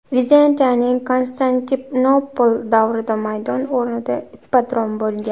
Vizantiyaning Konstantinopol davrida maydon o‘rnida ippodrom bo‘lgan.